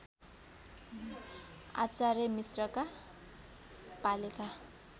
आचार्य मिश्रका पालेका